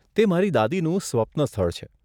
તે મારી દાદીનું સ્વપ્ન સ્થળ છે.